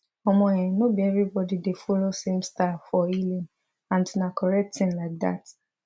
omo eh no be everybody dey follow same style for healing and na correct thing like dat